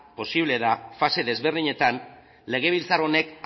posible da fase desberdinetan legebiltzar honek